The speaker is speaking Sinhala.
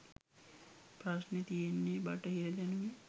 ප්‍රශ්නෙ තියෙන්නෙ බටහිර දැනුමෙ